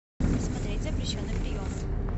смотреть запрещенный прием